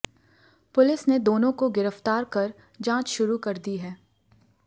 police ने दोनों को गिरफ्तार कर जांच शुरू कर दी है